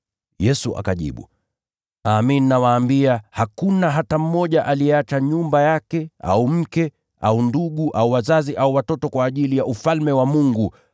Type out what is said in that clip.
Yesu akajibu, “Amin, nawaambia, hakuna hata mtu aliyeacha nyumba yake, au mke, au ndugu, au wazazi au watoto kwa ajili ya Ufalme wa Mungu